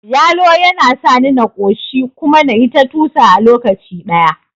Yalo yana sani na ƙoshi kuma nayi ta tusa a lokaci ɗaya